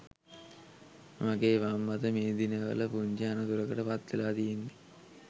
මගේ වම් අත මේ දිනවල පුංචි අනතුරකට පත්වෙලා තියෙන්නෙ